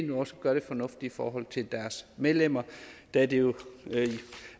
nu også gør det fornuftigt i forhold til deres medlemmer da det jo